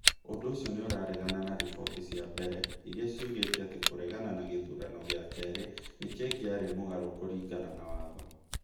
Ũndũ ũcio nĩ ũraregana na riboti cia mbere iria ciugĩte atĩ kũregana na gĩthurano gĩa kerĩ nĩ kĩngĩarĩ mũgarũ kũringana na watho.